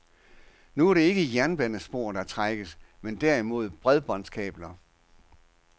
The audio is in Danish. Nu er det ikke jernbanespor, der trækkes, men derimod bredbåndskabler.